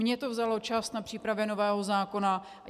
Mně to vzalo čas na přípravě nového zákona.